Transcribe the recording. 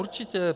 Určitě.